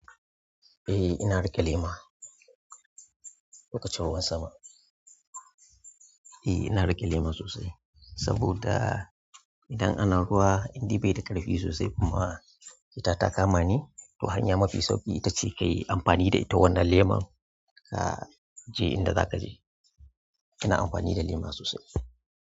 Eh, ina riƙe lema. Lokacin ruwan sama. Eh, ina riƙe lema sosai saboda idan ana ruwa, indai bai da ƙarfi sosai, kuma fita ta kama ni. To hanya mafi sauƙi ita ce kayi amfani da ita wannan leman, ah, je inda zaka je. Ina amfani da lema sosai.